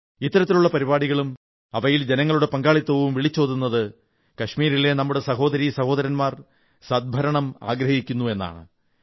ഇത്തരത്തിലുള്ള പരിപാടികളും അവയിൽ ജനങ്ങളുടെ പങ്കാളിത്തവും വിളിച്ചോതുന്നത് കാശ്മീരിലെ നമ്മുടെ സഹോദരീ സഹോദരൻമാ സദ് ഭരണം ആഗ്രഹിക്കുന്നു എന്നാണ്